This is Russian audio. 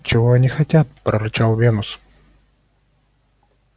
чего они хотят прорычал венус